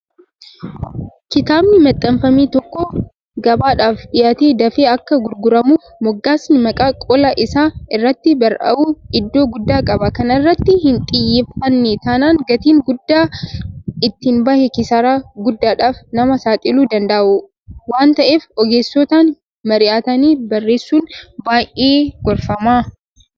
Kitaabni maxxanfame tokko gabaadhaaf dhiyaatee dafee akka gurguramuuf moggaasni maqaa qola isaa irratti barraa'u iddoo guddaa qaba. Kana irratti hinxiyyeeffanne taanaan gatiin guddaan itti bahee kisaaraa guddaadhaaf nama saaxiluu danda'a waanta'eef ogeessotaan mari'atanii barreessuun baay'ee gorfama.